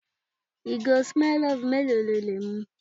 Ìgò Smirnoff mélòó lo lè mu?